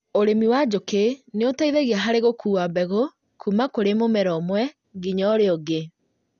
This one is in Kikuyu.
ũrĩmi wa njũkĩ nĩũteithagia harĩ gũkua mbegũ kuma kũrĩ mũmera ũmwe nginya ũrĩa ũngĩ